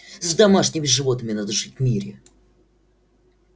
с домашними животными надо жить в мире